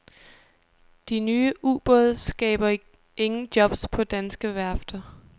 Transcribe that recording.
De nye ubåde skaber ingen jobs på danske værfter.